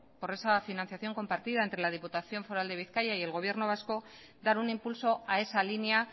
por esa financiación compartida entre la diputación foral de bizkaia y el gobierno vasco dar un impulso a esa línea